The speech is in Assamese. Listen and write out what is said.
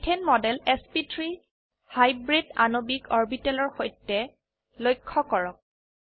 মিথেন মডেল এছপি3 হাইব্ৰিড আণবিক অৰবিটেলৰ সৈতে লক্ষ্য কৰক